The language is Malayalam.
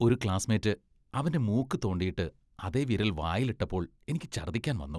ഒരു ക്ലാസ്മേറ്റ് അവന്റെ മൂക്ക് തോണ്ടിയിട്ട് അതേ വിരൽ വായിൽ ഇട്ടപ്പോൾ എനിക്ക് ഛർദ്ദിക്കാൻ വന്നു.